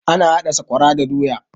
Ana haɗa sakwara da doya